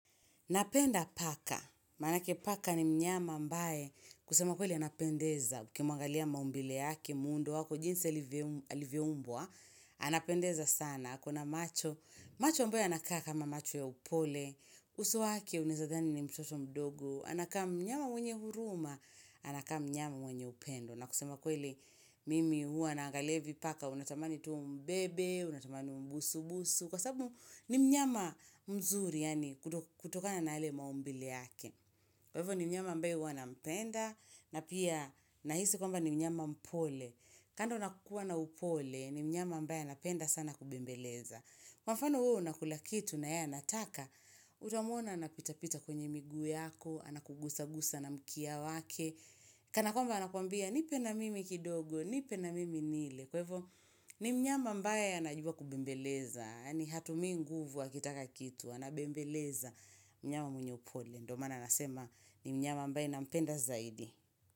Napenda paka, manake paka ni mnyama ambae, kusema kweli anapendeza, ukimwangalia maumbile yake muundo wako, jinsi alivyeumbwa, anapendeza sana, kuna macho, macho ambae anakaa kama macho ya upole, uso wake unaeza dhani ni mtoto mdogo, anakaa mnyama mwenye huruma, anakaa mnyama mwenye upendo. Na kusema kweli mimi hua naangalia hivi paka unatamani tuu umbebe, unatamani mbusu-busu kwa sababu ni mnyama mzuri yani kutokana na yale maumbile yake kwa hivyo ni mnyama ambae hua nampenda na pia nahisi kwamba ni mnyama mpole kando nakukua na upole ni mnyama ambae anapenda sana kubembeleza kwa mfano wewe unakulakitu na yeye anataka utamwona anapitapita kwenye miguu yako Anakugusa gusa na mkia wake Kanakwamba anakuambia nipe na mimi kidogo Nipe na mimi nile Kwa hivo ni mnyama ambaye anajua kubembeleza ni hatumi nguvu akitaka kitu Anabembeleza mnyama mwenye upole ndo maana anasema ni mnyama ambae nampenda zaidi.